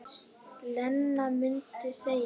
Lena mundi segja.